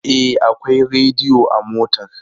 E, akwai rediyo a motar.